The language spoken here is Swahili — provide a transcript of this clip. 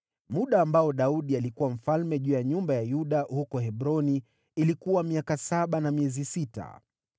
Muda ambao Daudi alikuwa mfalme juu ya nyumba ya Yuda huko Hebroni ilikuwa miaka saba na miezi sita.